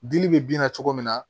Dili bɛ bin na cogo min na